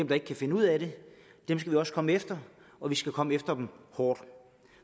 der ikke kan finde ud af det skal vi også komme efter og vi skal komme efter dem hårdt